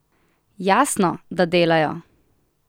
Jasno, da delajo!